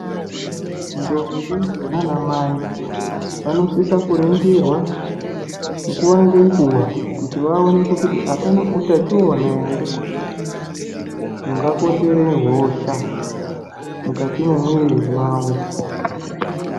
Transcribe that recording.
Ndombi naanamai vanosisa kuringirwa nguva ngenguva kuti hapana utachiona ungakonzere hosha mukati memwiri mawo .